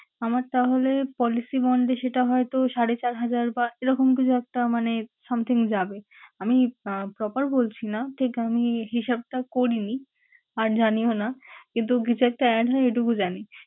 আমার তাহলে policy bond এ সেটা হয়তো সাড়ে চার হাজার বা এরকম কিছু একটা মানে something যাবে। আমি আহ proper বলছি না ঠিক। আমি হিসাবটা করিনি আর জানিও না কিন্তু কিছু একটা add হয় এইটুকু জানি।